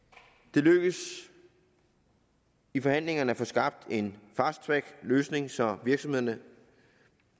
det lykkedes i forhandlingerne at få skabt en fast track løsning så virksomhederne